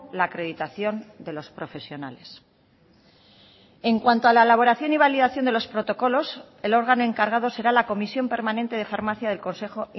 la acreditación de los profesionales en cuanto a la elaboración y validación de los protocolos el órgano encargado será la comisión permanente de farmacia del consejo